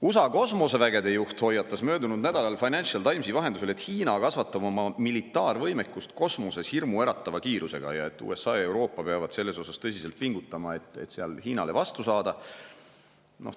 USA kosmose juht hoiatas möödunud nädalal Financial Timesi vahendusel, et Hiina kasvatab oma militaarvõimekust kosmoses hirmuäratava kiirusega ning et USA ja Euroopa peavad tõsiselt pingutama, et selles Hiinale vastu saada.